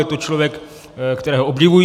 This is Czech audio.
Je to člověk, kterého obdivují.